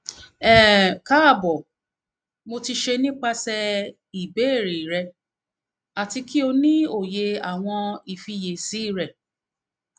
um kaabo mo ti ṣe nipasẹ ibeere rẹ ati ki o ni oye awọn ifiyesi rẹ